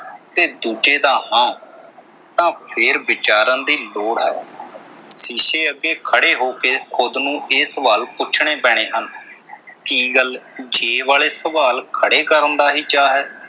ਤੇ ਦੂਜੇ ਦਾ ਹਾਂ। ਤਾਂ ਫੇਰ ਵਿਚਾਰਨ ਦੀ ਲੋੜ ਹੈ। ਸ਼ੀਸ਼ੇ ਅੱਗੇ ਖੜ੍ਹੇ ਹੋ ਕੇ ਖ਼ੁਦ ਨੂੰ ਇਹ ਸਵਾਲ ਪੁੱਛਣੇ ਪੈਣੇ ਹਨ, ਕੀ ਗੱਲ ਜੇ ਵਾਲੇ ਸਵਾਲ ਖੜ੍ਹੇ ਕਰਨ ਦਾ ਹੀ ਚਾਹ ਹੈ।